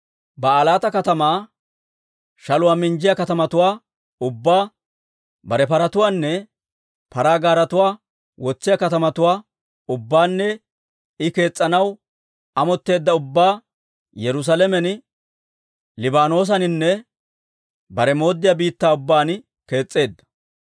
Baa'ilaata katamaa, shaluwaa minjjiyaa katamatuwaa ubbaa, bare paratuwaanne paraa gaaretuwaa wotsiyaa katamatuwaa ubbaanne I kees's'anaw amotteedda ubbaa Yerusaalamen Libaanoosaninne bare mooddiyaa biittaa ubbaan kees's'eedda.